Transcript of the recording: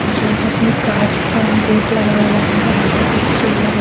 जो जिसमे कांच का गेट लगा हुआ है और अंदर कुछ चेयर --